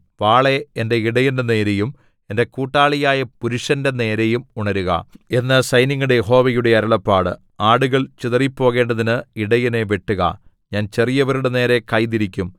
വാളേ എന്റെ ഇടയന്റെ നേരെയും എന്റെ കൂട്ടാളിയായ പുരുഷന്റെ നേരെയും ഉണരുക എന്നു സൈന്യങ്ങളുടെ യഹോവയുടെ അരുളപ്പാട് ആടുകൾ ചിതറിപ്പോകേണ്ടതിന് ഇടയനെ വെട്ടുക ഞാൻ ചെറിയവരുടെ നേരെ കൈ തിരിക്കും